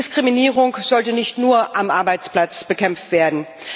Diskriminierung sollte nicht nur am Arbeitsplatz bekämpft werden.